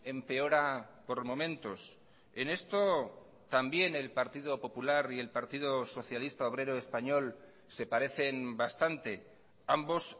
empeora por momentos en esto también el partido popular y el partido socialista obrero español se parecen bastante ambos